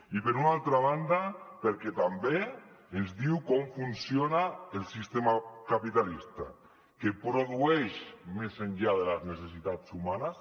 i per una altra banda perquè també ens diu com funciona el sistema capitalista que produeix més enllà de les necessitats humanes